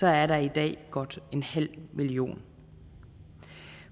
er der i dag godt en halv million